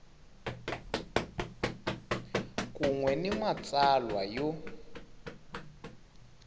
kun we ni matsalwa yo